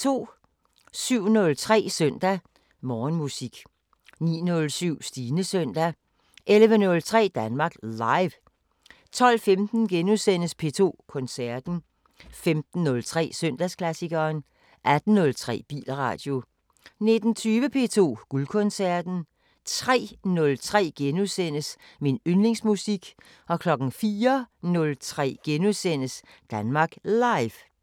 07:03: Søndag Morgenmusik 09:07: Stines søndag 11:03: Danmark Live 12:15: P2 Koncerten * 15:03: Søndagsklassikeren 18:03: Bilradio 19:20: P2 Guldkoncerten 03:03: Min yndlingsmusik * 04:03: Danmark Live *